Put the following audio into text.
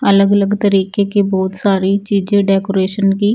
अलग अलग तरीके कि बहोत सारी चीजे डेकोरेशन कि--